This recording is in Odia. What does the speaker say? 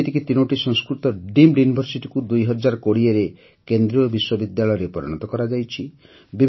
ଯେମିତିକି ତିନୋଟି ସଂସ୍କୃତ ଡିମ୍ଡ Universityକୁ ଦୁଇ ହଜାର କୋଡ଼ିଏରେ କେନ୍ଦ୍ରୀୟ ବିଶ୍ୱବିଦ୍ୟାଳୟରେ ପରିଣତ କରାଯାଇଛି